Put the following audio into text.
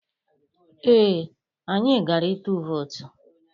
Ee, anyị gara ịtụ vootu.